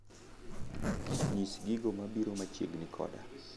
nyis gigo mabiro machiegni koda